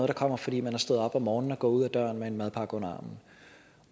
der kommer fordi man er stået op om morgenen og er gået ud ad døren med en madpakke under armen